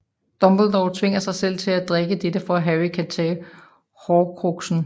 Dumbledore tvinger sig selv til at drikke dette for at Harry kan tage Horcruxen